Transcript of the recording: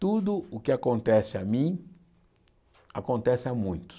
Tudo o que acontece a mim, acontece a muitos.